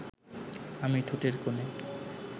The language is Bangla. আমি ঠোঁটের কোণে